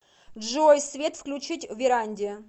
джой свет включить в веранде